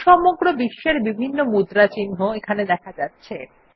সমগ্র বিশ্বের বিভিন্ন মুদ্রা চিহ্ন এখানে দেখা যাচ্ছে